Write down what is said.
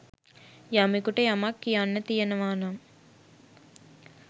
යමකුට යමක් කියන්න තියෙනවා නම්